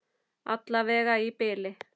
Alla vega í bili.